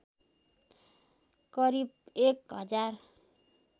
करिब एक हजार